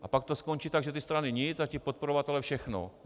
A pak to skončí tak, že ty strany nic a ti podporovatelé všechno.